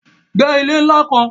Gbẹ́ ilé ńlá kan.